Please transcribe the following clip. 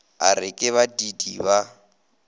a re ke badiidi ba